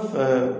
Kɔfɛ